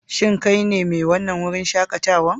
Shin kai ne mai wannan wurin shakatawa?